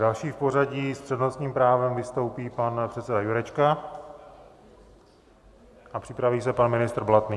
Další v pořadí s přednostním právem vystoupí pan předseda Jurečka a připraví se pan ministr Blatný.